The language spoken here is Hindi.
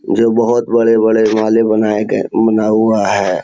जो बहुत बड़े-बड़े हिमालय बनाए गए है बना हुआ है।